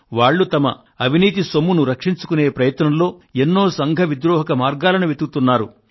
వాళ్ళు తమ అవినీతి సొమ్మును రక్షించుకొనే ప్రయత్నంలో ఎన్నో సంఘ విద్రోహక మార్గాలను వెతుకుతున్నారు